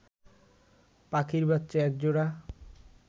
পাখির বাচ্চা এক জোড়া